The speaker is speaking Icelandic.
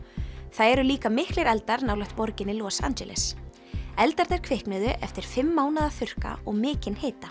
það eru líka miklir eldar nálægt borginni Los Angeles eldarnir kviknuðu eftir fimm mánaða þurrka og mikinn hita